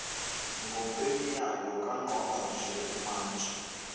ngokwemiyalo kangqonqgoshe umantshi